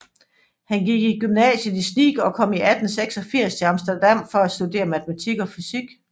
Han gik i gymnasiet i Sneek og kom i 1886 til Amsterdam for at studere matematik og fysik